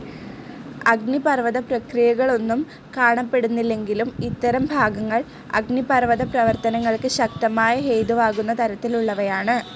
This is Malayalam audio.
അഗ്നിപർവത പ്രക്രിയകളൊന്നും കാണപ്പെടുന്നില്ലെങ്കിലും ഇത്തരം ഭാഗങ്ങൾ അഗ്നിപർവത പ്രവർത്തനങ്ങൾക്ക് ശക്തമായ ഹേതുവാകുന്ന തരത്തിലുള്ളവയാണ്.